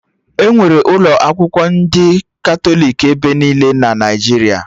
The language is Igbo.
Enwere ụlọ akwụkwọ ndị Katọlik ebe niile na Naijiria